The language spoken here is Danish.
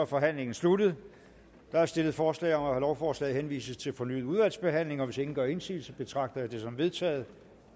forhandlingen sluttet der er stillet forslag om at lovforslaget henvises til fornyet udvalgsbehandling og hvis ingen gør indsigelse betragter jeg det som vedtaget